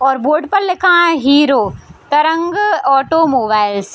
और बोर्ड पर लिखा है हीरो तरंग ऑटो मोबाइल्स ।